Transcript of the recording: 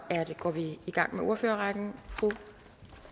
går vi i gang med ordførerrækken fru